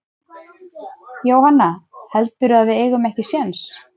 Jóhanna: Heldurðu að við eigum ekki séns?